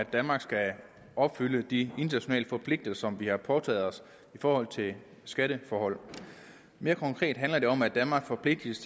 at danmark skal opfylde de internationale forpligtelser vi har påtaget os i forhold til skatteforhold mere konkret handler det om at danmark forpligtes